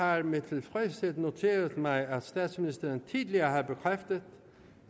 jeg med tilfredshed har noteret mig at statsministeren tidligere har bekræftet